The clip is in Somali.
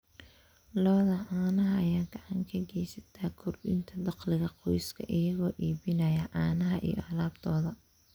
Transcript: Lo'da caanaha ayaa gacan ka geysata kordhinta dakhliga qoyska iyagoo iibinaya caanaha iyo alaabtooda.